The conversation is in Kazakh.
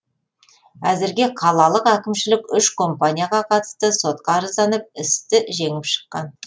әзірге қалалық әкімшілік үш компанияға қатысты сотқа арызданып істі жеңіп шыққан